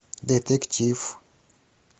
детектив